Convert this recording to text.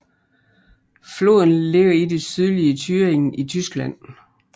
Floden ligger i det sydlige Thüringen i Tyskland